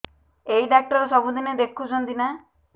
ଏଇ ଡ଼ାକ୍ତର ସବୁଦିନେ ଦେଖୁଛନ୍ତି ନା